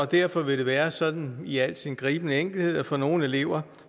derfor vil det være sådan i al sin gribende enkelhed at for nogle elever